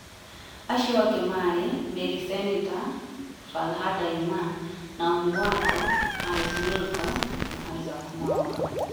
Acio angĩ marĩ, Mary Seneta, Falhada Iman, Naomi Waqo, Alice Milgo na Isaac Mwaũra.